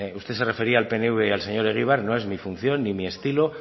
usted se refería al pnv y al señor egibar y no es mi función ni mi estilo